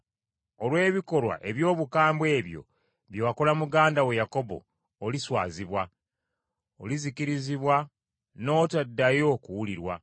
Olw’ebikolwa eby’obukambwe ebyo bye wakola muganda wo Yakobo, oliswazibwa. Olizikirizibwa n’otaddayo kuwulirwa.